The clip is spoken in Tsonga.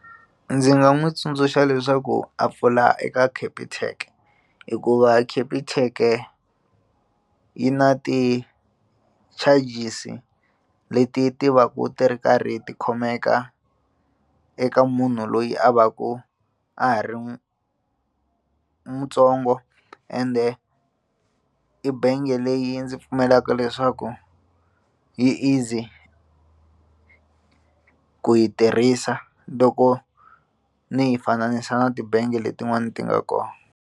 Ndzi nga n'wi tsundzuxa leswaku a pfula eka Capitec hikuva Capitec-e yi na ti-charges leti ti va ku ti ri karhi ti khomeka eka munhu loyi a va ku a ha ri mutsongo ende i bangi leyi ndzi pfumelaka leswaku yi easy ku yi tirhisa loko ni yi fanisa na tibangi letin'wani ti nga kona.